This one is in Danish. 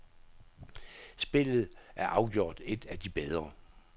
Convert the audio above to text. Spillet er afgjort et af de bedre.